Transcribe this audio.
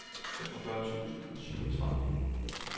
femogfyrre tusind og syvogtredive